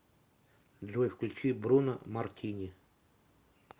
джой включи бруно мартини